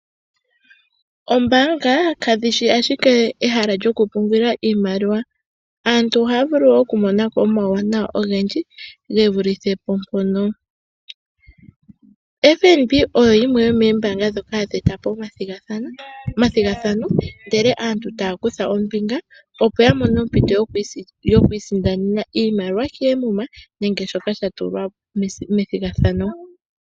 Oombaanga kadhi shi ashike ehala lyoku pungulila iimaliwa, aantu ohaya vulu oku mona ko omauwanawa ogendji ge vulithe po mpoka. FNB oyo yimwe yomoombaanga ndhoka hadhi eta po omathigathano ndele aantu taya kutha ombinga, opo ya mone ompito yokwiisindanena iimaliwa keemuma nenge shoka sha tulwa po methigathano.